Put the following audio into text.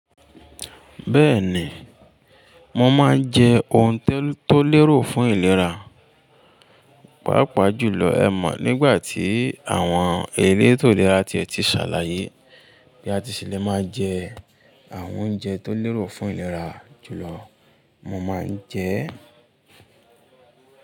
Bẹ́ẹ̀ ni, mo máa ń jẹ oun tol to lérò fún ìlera, pàápàá jùlọ ẹ mọ̀ nígbà tí àwọn elétó lera tiẹ̀ ti ṣàlàyé bí a ti ṣì lè máa jẹ àwọn oúnjẹ tó lérò fún ìlera jùlọ mo máa ń jẹ e.